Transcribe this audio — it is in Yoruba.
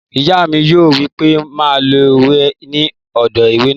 Ìyá mi yóò wí pé má lo wẹ̀ ní odò ìwẹ̀ náà